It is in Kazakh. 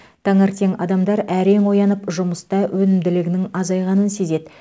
таңертең адамдар әрең оянып жұмыста өнімділігінің азайғанын сезеді